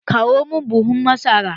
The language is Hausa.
Kawo mun buhun masara!